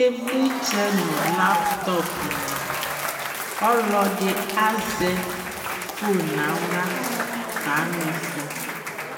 ivlitsɛ nʋ laptop ni, ɔlɔdi azɛ phone nʋ ala kamiƒɔ